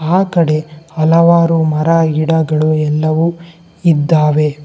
ಆಕಡೆ ಹಲವಾರು ಮರ ಗಿಡಗಳು ಎಲ್ಲವು ಇದ್ದಾವೆ.